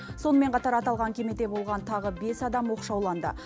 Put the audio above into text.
сонымен қатар аталған кемеде болған тағы бес адам оқшауланды